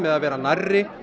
að vera nærri